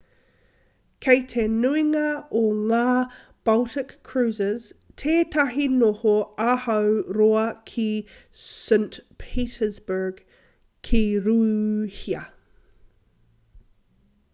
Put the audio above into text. kei te nuinga o ngā baltic cruises tētahi noho āhua roa ki st petersburg ki rūhia